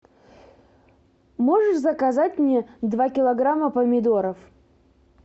можешь заказать мне два килограмма помидоров